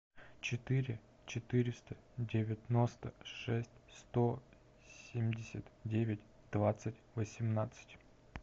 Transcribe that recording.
четыре четыреста девяносто шесть сто семьдесят девять двадцать восемнадцать